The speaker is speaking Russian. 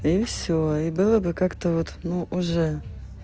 и всё и было бы как-то вот ну уже